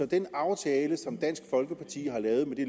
den aftale som dansk folkeparti har lavet med det